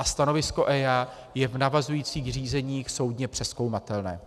A stanovisko EIA je v navazujících řízeních soudně přezkoumatelné.